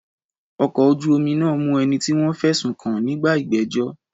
Ọkọ̀ ojú omi náà mú ẹni tí wọ́n fẹ̀sùn kàn nígbà ìgbẹ́jọ́.